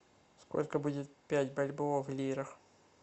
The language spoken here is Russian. сколько будет пять бальбоа в лирах